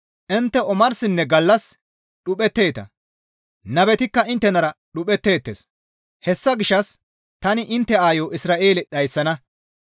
Intte omarsinne gallas dhuphetteeta; nabetikka inttenara dhuphetteettes. Hessa gishshas tani intte aayo Isra7eele dhayssana.